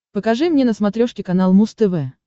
покажи мне на смотрешке канал муз тв